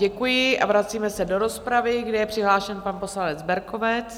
Děkuji a vracíme se do rozpravy, kde je přihlášen pan poslanec Berkovec.